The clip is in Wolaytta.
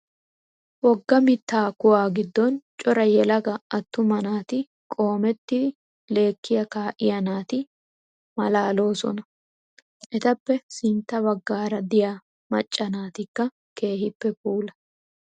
Wogga mittaa kuwaa giddon cora yelaga attumaa naatu qoomettidi lekkiyaa kaa"iyaa naati maalaaloosona. Etappe sintta baggaara diyaa macca naatikaa keehippe puula.